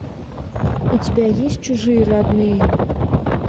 у тебя есть чужие родные